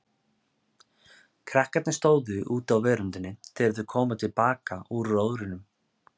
Krakkarnir stóðu úti á veröndinni þegar þau komu til baka úr róðrinum.